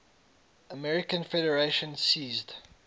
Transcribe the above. american federation ceased